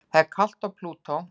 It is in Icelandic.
Það er kalt á Plútó.